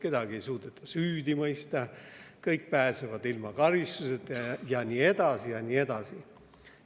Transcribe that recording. Kedagi ei suudeta süüdi mõista, kõik pääsevad ilma karistuseta ja nii edasi ja nii edasi.